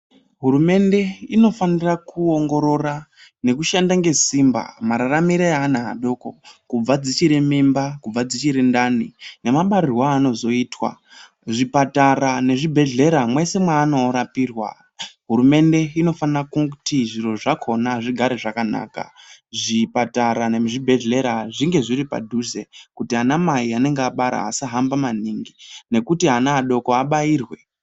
Hurumende inofanira kuongorora nekushanda ngesimba mararamire eana adoko kubva dzichiri mimba, kubva dzichiri ndani, nemabarirwo aanozoitwa. Zvipatara nezvibhedhlera, mwese mwaano rapirwa hurumende inofana kuti zviro zvakona zvigare zvakanaka. Zvipatara nezvibhedhlera zvinge zviri padhuze kuti anamai anenge abara asahamba maningi nekuti ana adoko abairwe.